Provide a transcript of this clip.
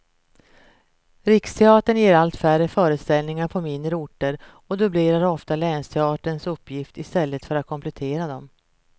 Riksteatern ger allt färre föreställningar på mindre orter och dubblerar ofta länsteatrarnas uppgifter i stället för att komplettera dem.